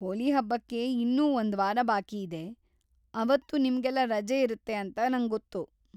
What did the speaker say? ಹೋಲಿ ಹಬ್ಬಕ್ಕೆ ಇನ್ನೂ ಒಂದ್ವಾರ ಬಾಕಿಯಿದೆ, ಅವತ್ತು ನಿಮ್ಗೆಲ್ಲ ರಜೆ ಇರತ್ತೆ ಅಂತ ನಂಗೊತ್ತು.